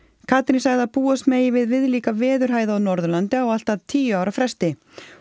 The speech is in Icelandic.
Katrín sagði að búast megi við viðlíka veðurhæð á Norðurlandi á allt að tíu ára fresti